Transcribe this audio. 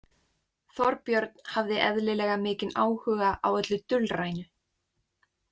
Þorbjörn hafði eðlilega mikinn áhuga á öllu dulrænu.